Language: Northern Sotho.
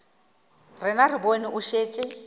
rena re bone o šetše